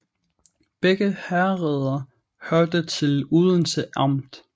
Begge herreder hørte til Odense Amt